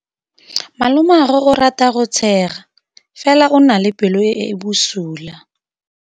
Malomagwe o rata go tshega fela o na le pelo e e bosula.